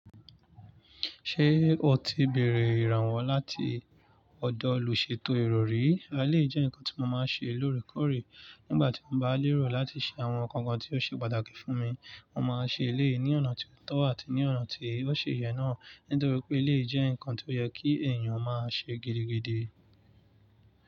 Ṣé o ti bèrè ìrànwọ́ láti ọ̀dọ̀ olùṣètò èrò rí? Àlè jẹ́ ǹkan tí mo máa ń ṣe lóòrèkóòrè nígbà tí mo bá lérò láti ṣe àwọn ǹkan kan tí ó ṣe pàtàkì fún mi. Mo máa ṣe eleyi ní ọ̀nà tí ó tọ́ àti ní ọ̀nà tí ó ṣi yẹ náà, nítorí pé eleyi jẹ́ ǹkan tí ó yẹ kí èèyàn máa ṣe gidigidi.